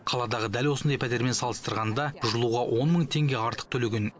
қаладағы дәл осындай пәтермен салыстырғанда жылуға он мың теңге артық төлеген